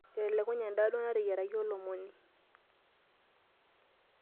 Etelekunye endaa duo nateyiarakaki olomoni.